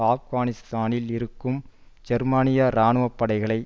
ஆப்கானிஸ்தானில் இருக்கும் ஜெர்மனிய இராணுப் படைகளை